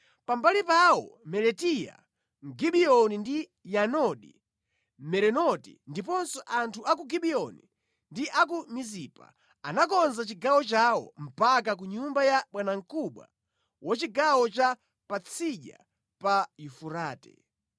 Pambali pawo Melatiya Mgibeyoni ndi Yadoni Mmerenoti ndiponso anthu a ku Gibiyoni ndi a ku Mizipa anakonza chigawo chawo mpaka ku nyumba ya bwanamkubwa wa chigawo cha Patsidya pa Yufurate.